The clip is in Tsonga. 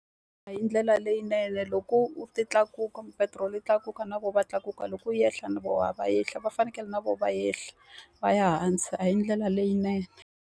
A hi ndlela leyinene loko ti tlakuka petiroli yi tlakuka na vona va tlakuka, loko yi ehla na vona a va ehli. Va fanekele na vona va ehla va ya hansi. A hi ndlela leyinene.